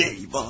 Eyvah!